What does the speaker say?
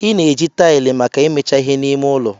Ị na-eji taịlị maka imecha ihe n'ime ụlọ.